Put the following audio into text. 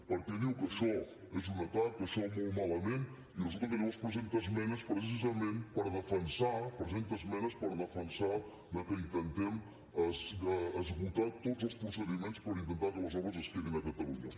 perquè diu que això és un atac això molt malament i resulta que llavors presenta esmenes precisament per defensar que intentem esgotar tots els procediments per intentar que les obres es quedin a catalunya